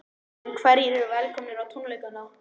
En hverjir eru velkomnir á tónleikana?